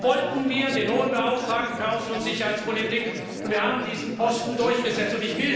Deshalb wollten wir den Hohen Beauftragten für die Außen und Sicherheitspolitik, und wir haben diesen Posten durchgesetzt.